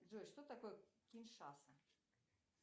джой что такое киншаса